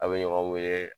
A' bɛ ɲɔgɔn wele